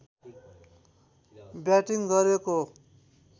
batting गरेको